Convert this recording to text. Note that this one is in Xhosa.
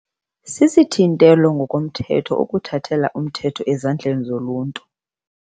Sisithintelo ngokomthetho ukuthathela umthetho ezandleni zoluntu.